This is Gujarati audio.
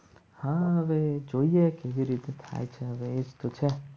હા હવે જોઈએ કેવી રીતે થાય છે.